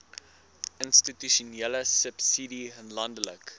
institusionele subsidie landelike